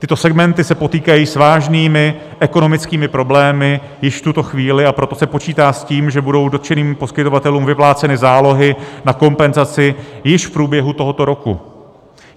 Tyto segmenty se potýkají s vážnými ekonomickými problémy již v tuto chvíli, a proto se počítá s tím, že budou dotčeným poskytovatelům vypláceny zálohy na kompenzaci již v průběhu tohoto roku.